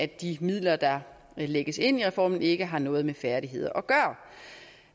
de midler der lægges ind i reformen ikke har noget med færdigheder